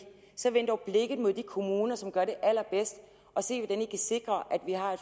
så vend dog blikket mod de kommuner som gør det allerbedst og se hvordan i kan sikre at vi har